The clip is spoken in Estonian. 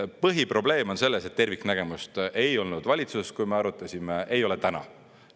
Põhiprobleem on selles, et terviknägemust ei olnud valitsuses, kui me arutasime, ei ole täna.